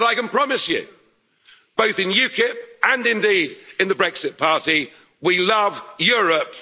power. And I can promise you, both in UKIP and indeed in the Brexit party, we love Europe